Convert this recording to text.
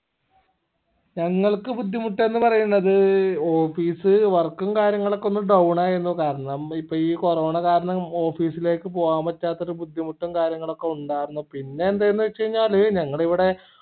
ഞങ്ങൾക്ക് ബുദ്ധിമുട്ടെന്ന് പറയ്ന്നത് office work ഉം കാര്യങ്ങളും ഒക്കെ ഒന്ന് down ആയിരുന്നു കാരണം ഇപ്പൊ ഈ corona കാരണം office ലേക്ക് പോവാൻ പറ്റാത്ത ഒരു ബുദ്ധിമുട്ടും കാര്യങ്ങളും ഒക്കെ ഉണ്ടാർന്നു പിന്നെ എന്തന്ന് വെച്ചഴിഞ്ഞാല് ഞങ്ങൾ ഇവിടെ